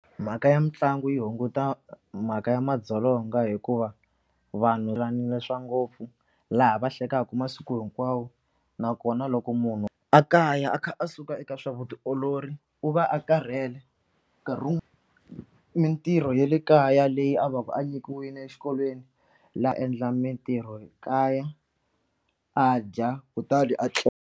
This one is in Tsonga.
Mhaka ya mitlangu yi hunguta mhaka ya madzolonga hikuva vanhu swa ngopfu laha va hleketaka masiku hinkwawo nakona loko munhu a kaya a kha a suka eka swa vutiolori u va a karhele nkarhi mitirho ya le kaya leyi a va ku a nyikiwile exikolweni laha a endla mitirho kaya a dya kutani a .